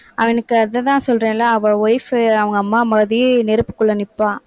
அவனுக்கு அதுதான் சொல்றேன்ல அவன் wife உ அவங்க அம்மா மாதிரி நெருப்புக்குள்ள நிப்பான்.